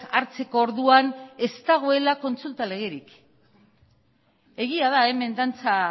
hartzeko orduan ez dagoela kontsulta legerik egia da hemen dantza